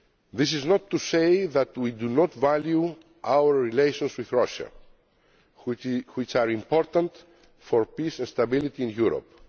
This is not to say that we do not value our relations with Russia, which are important for peace and stability in Europe.